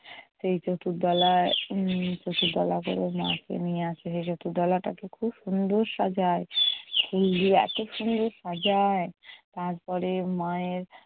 সে চতুর্দোলায় উম চতুর্দোলা করে মাকে নিয়ে আসে। সে চতুর্দোলাটাকে খুব সুন্দর সাজায়। ফুল দিয়ে এতো সুন্দর সাজায়। তারপরে মায়ের